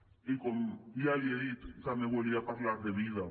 i com ja li he dit també volia parlar de vida